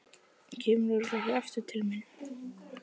Kemurðu örugglega aftur til mín?